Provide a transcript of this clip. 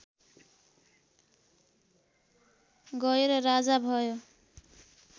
गएर राजा भयो